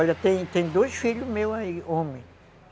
Olha, tem tem dois filhos meus aí, homens.